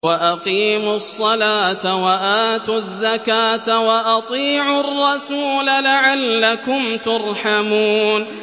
وَأَقِيمُوا الصَّلَاةَ وَآتُوا الزَّكَاةَ وَأَطِيعُوا الرَّسُولَ لَعَلَّكُمْ تُرْحَمُونَ